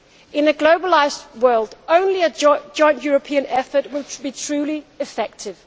In a globalised world, only a joint European effort will be truly effective.